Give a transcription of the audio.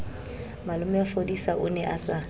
malomafodisa o ne a sa